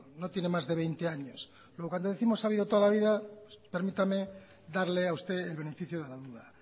no tiene más de veinte años luego cuando décimos que ha habido toda la vida permítame darle a usted el beneficio de la duda